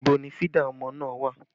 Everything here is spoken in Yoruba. Ibo ni fídà ọmọ náà wà?